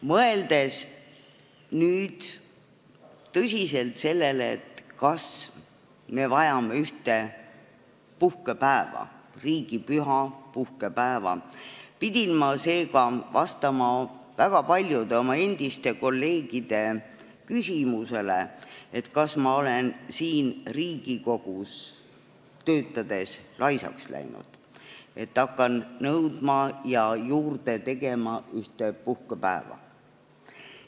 Mõeldes tõsiselt sellele, kas me vajame ühte uut riigipüha, puhkepäeva, pidin ma vastama väga paljude oma endiste kolleegide küsimusele, kas ma olen Riigikogus töötades laisaks läinud, et hakkan ühte uut puhkepäeva nõudma ja juurde tegema.